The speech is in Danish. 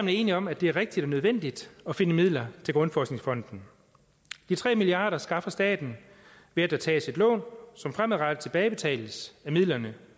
er enige om at det er rigtigt og nødvendigt at finde midler til grundforskningsfonden de tre milliard kroner skaffer staten ved at der tages et lån som fremadrettet tilbagebetales af midlerne